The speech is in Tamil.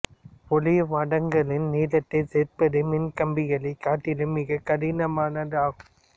ஒளிவடங்களின் நீளத்தை சேர்ப்பது மின் கம்பிகளை காட்டிலும் மிக கடினமானது ஆகும்